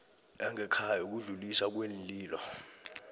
yangekhaya yokudluliswa kweenlilo